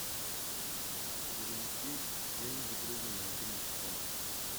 перевести деньги другу на мобильный телефон